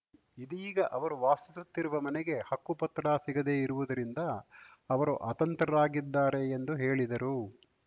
ಇದೀಗ ಅವರು ವಾಸಿಸುತ್ತಿರುವ ಮನೆಗೆ ಹಕ್ಕುಪತ್ರ ಸಿಗದೆ ಇರುವುದರಿಂದ ಅವರು ಅತಂತ್ರರಾಗಿದ್ದಾರೆ ಎಂದು ಹೇಳಿದರು